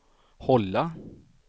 hålla